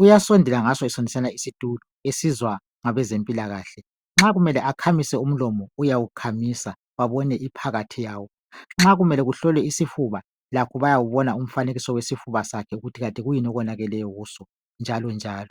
Uyasondela ngaso sonesana isitulo, esizwa ngabezempilakahle. Nxa kumele akhamise umlomo, uyawukhamisa babone iphakathi yawo. Nxa kumele kuhlolwe isifuba, lakho bayawubona umfanekiso wesifuba sakhe ukuthi kanti kuyini okonakeleyo kiso, njalonjalo.